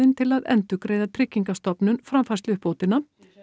til að endurgreiða Tryggingastofnun framfærsluuppbótina